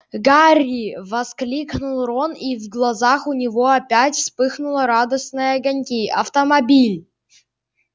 гарри воскликнул рон и в глазах у него опять вспыхнула радостные огоньки автомобиль